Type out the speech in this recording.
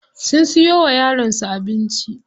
Sun siyo wa yaron su abinci.